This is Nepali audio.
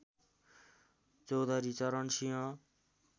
चौधरी चरण सिंह